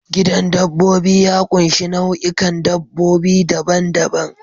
Gidan dabbobi ya ƙunshi nau'ikan dabbobi daban-daban.